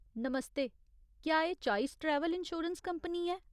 नमस्ते, क्या एह् choice travel insurance company है ?